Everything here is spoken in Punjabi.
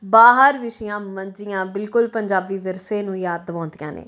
ਬਾਹਰ ਵਿਛੀਆਂ ਮੰਜੀਆਂ ਬਿਲਕੁਲ ਪੰਜਾਬੀ ਵਿਰਸੇ ਨੂੰ ਯਾਦ ਦਿਵਾਉਂਦੀਆਂ ਨੇਂ।